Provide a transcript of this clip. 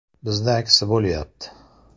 Bizda aksi bo‘lyapti.